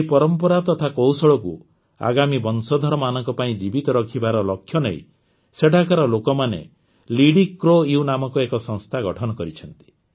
ଏହି ପରମ୍ପରା ତଥା କୌଶଳକୁ ଆଗାମୀ ବଂଶଧରମାନଙ୍କ ପାଇଁ ଜୀବିତ ରଖିବାର ଲକ୍ଷ୍ୟନେଇ ସେଠାକାର ଲୋକମାନେ ଲିଡିକ୍ରୋୟୁ ନାମକ ଏକ ସଂସ୍ଥା ଗଠନ କରିଛନ୍ତି